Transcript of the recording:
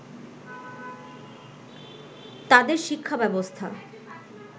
তাদের শিক্ষা ব্যবস্থা